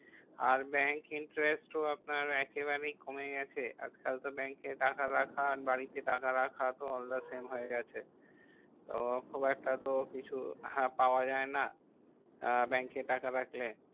আর bank interest ও আপনার একেবারেই কমে গেছে। আর তাওতো bank এ টাকা রাখা আর বাড়ি তে টাকা রাখা তো all the same হয়ে গেছে। তো খুব একটা তো কিছু হ্যাঁ পাওয়া যাই না, আহ bank এ টাকা রাখলে?